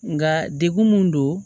Nga degun mun don